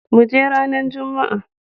Muje ranan jumma.